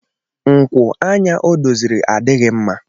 Nkwu anya o doziri adịghị mma.